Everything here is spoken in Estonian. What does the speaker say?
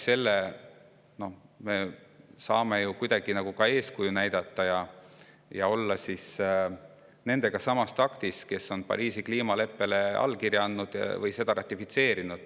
Selle kaudu saaksime me ka eeskuju näidata ja käia samas taktis nende riikidega, kes on Pariisi kliimaleppele allkirja andnud või selle ratifitseerinud.